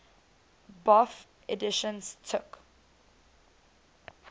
bofh editions took